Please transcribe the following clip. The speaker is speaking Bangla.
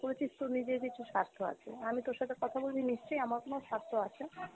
করেছিস তোর নিজের কিছুর স্বার্থ আছে , আমি তোর সাথে কথা বলি নিশ্চয়ই আমার কোনো স্বার্থ আছে।